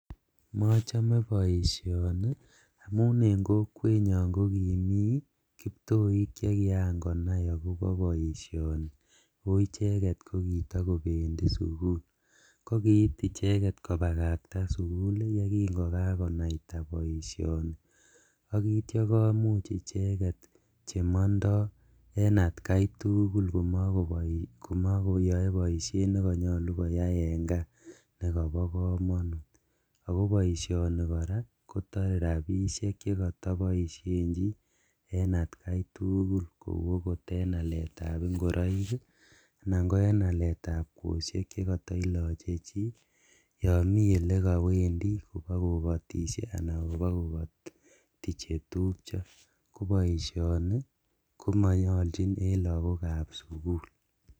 Mochome boisioni amun en kokwenyun kokimii kiptoik chekian konai akobo boisioni ako icheget kokitokopendi sukul kokiit kobakakta icheget sugul yelikokakonaita boisioni ,ak itio konam icheget chemondo en akaitugul komokoyoe boiseit nekonyolu en kaa nakobo komonut ako boisioni koraa kotore rabisiek chekotoboisien en atkaitugul kou okot en aletab ingoroik ii anan ko en aletab kwosiek chekotoloche chi yon mi ole kowendi alan kobokokoti chetupjo koboisioni komonyoljin en lagokab sukul.